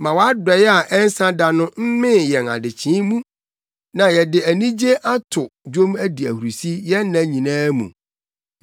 Ma wʼadɔe a ɛnsa da no mmee yɛn adekyee mu, na yɛde anigye ato dwom adi ahurusi yɛn nna nyinaa mu.